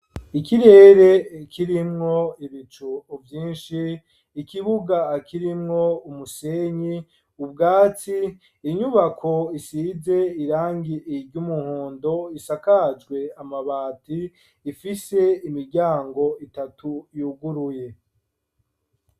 Ikirere kirimwo ibicu vyinshi, ikibuga kirimwo umusenyi, ubwatsi inyubako isize irangi iry'umuhondo isakajwe amabati ifise imiryango itatu yuguruye.